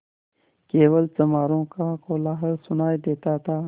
केवल चमारों का कोलाहल सुनायी देता था